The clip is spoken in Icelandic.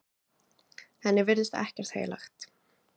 Henni virtist ekkert heilagt.